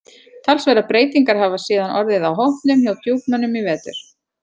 Talsverðar breytingar hafa síðan orðið á hópnum hjá Djúpmönnum í vetur.